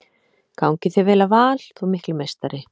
Gangi þér vel í Val þú mikli meistari!